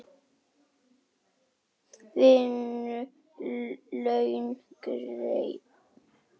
Vinnu laun greidd.